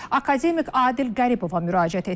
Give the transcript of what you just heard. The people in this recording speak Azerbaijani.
Akademik Adil Qəribova müraciət etdik.